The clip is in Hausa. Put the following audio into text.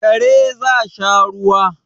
Kare za sha ruwa